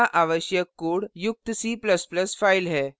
यहाँ आवश्यक code युक्त c ++ file है